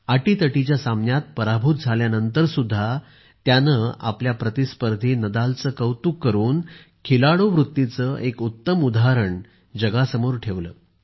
अटीतटीच्या सामन्यात पराभूत झाल्यानंतर सुद्धा त्यांनी आपल्या प्रतिस्पर्धी नदालचे कौतुक करून खिलाडूवृत्तीचे एक उत्तम उदाहरण जगासमोर ठेवले